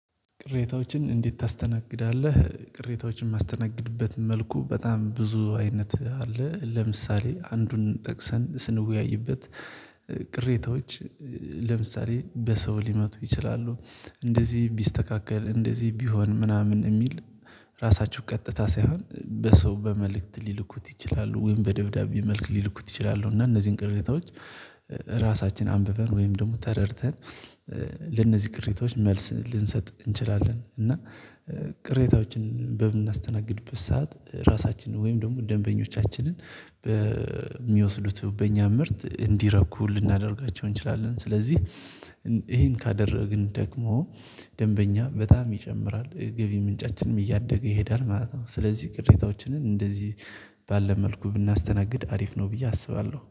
ቅሬታዎችን እንዴት ታስተናግዳለህ? ቅሬታዎችን ማስተናገድበት መልኩ በጣም ብዙ አይነት አለ ለምሳሌ አንዱን ጠቅሰን ስንወያይበት። ቅሬታዎች። ለምሳሌ በሰው ሊመጡ ይችላሉ እንደዚህ ቢስተካከል እንደዚህ ቢሆን ምናምን የሚል። ራሳቸው ቀጥታ ሳይሆን በሰው በመልእክት ሊልኩት ይችላሉ ወይም በደብዳቤ መልክ ሊልኩት ይችላሉ እና እነዚህን ቅሬታዎች። ራሳችን አንብበን ወይም ደግሞ ተረድተን። ለነዚህ ቅሬታዎች መልስ ልንሰጥ እንችላለን እና። ቅሬታዎችን በምናስተናግድበት ሰዓት ራሳችንን ወይም ደግሞ ደንበኞቻችንን በሚወስዱት በእኛ ምርት እንዲረኩ ልናደርጋቸው እንችላለን። ስለዚህ። ይሄን ካደረግን ደግሞ ደንበኛ በጣም ይጨምራል የገቢ ምንጫችንም እያደገ ይሄዳል ማለት ነው። ስለዚህ ቅሬታዎችን እንደዚህ ባለ መልኩ ብናስተናግድ አሪፍ ነው። ብዬ አስባለሁ